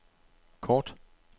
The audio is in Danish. kort